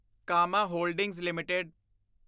Kama holdings LTD